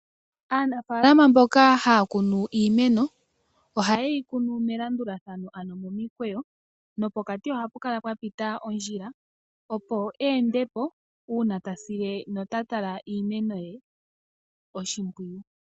Aanafaalama mboka haya kunu iimeno ohaye yi kunu melandulathano ano momikweyo nopokati ohapukala pwapita ondjila opo eende po uuna tasile notatala iimeno ye oshimpwiyu.